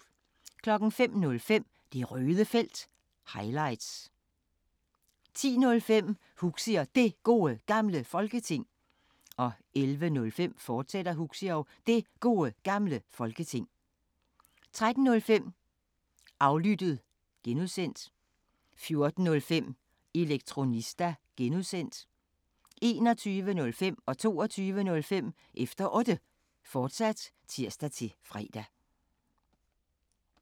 05:05: Det Røde Felt – highlights 10:05: Huxi og Det Gode Gamle Folketing 11:05: Huxi og Det Gode Gamle Folketing, fortsat 13:05: Aflyttet (G) 14:05: Elektronista (G) 21:05: Efter Otte, fortsat (tir-fre) 22:05: Efter Otte, fortsat (tir-fre)